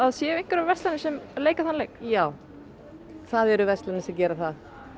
séu einhverjar verslanir sem leika þann leik já það eru verslanir sem gera það